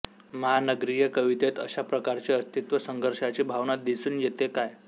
महानगरीय कवितेत अशा प्रकारची अस्तित्व संघर्षाची भावना दिसून येते काय